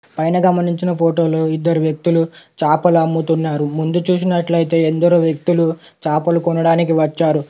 పైన గమనించిన ఫోటో లో ఇద్దరు వ్యక్తులు చాపలు అమ్ముతున్నారు ముందు చూసినట్లు అయితే ఎందరో వ్యక్తులు చాపలు కొనడానికి వచ్చారు.